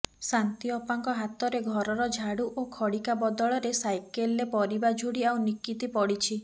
ଶାନ୍ତିଅପାଙ୍କ ହାତରେ ଘରର ଝାଡୁ ଓ ଖଡ଼ିକା ବଦଳରେ ସାଇକଲରେ ପରିବା ଝୁଡି ଆଉ ନିକିତି ପଡ଼ିଛି